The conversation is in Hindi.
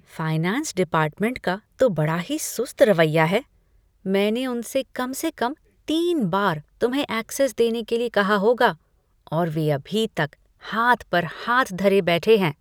फाइनेंस डिपार्टमेंट का तो बड़ा ही सुस्त रवैया है। मैंने उनसे कम से कम तीन बार तुम्हें ऐक्सेस देने के लिए कहा होगा और वे अभी तक हाथ पर हाथ धरे बैठे हैं।